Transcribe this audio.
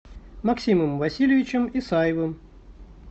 максимом васильевичем исаевым